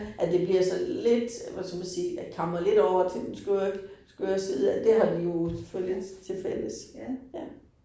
At det bliver sådan lidt hvad skal man sige kammer lidt over til den skøre ik skøre side, at det har de jo selvfølgelig til fælles. Ja